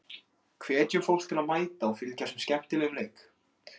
Hvetjum fólk til að mæta og fylgjast með skemmtilegum leik.